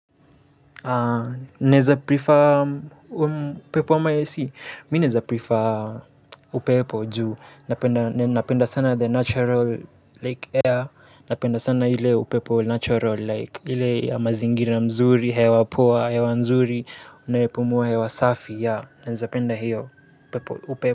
Upeo ama AC mi naeza prefer upepo juu, napenda sana the natural like air, napenda sana ile upepo natural like, ile ya mazingira mzuri, hewa poa, hewa nzuri, unaipumuwa hewa safi ya, naeza penda hiyo upepo.